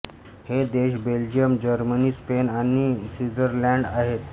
हे देश Belgium Germany Spain आणि स्वित्झर्लंड आहेत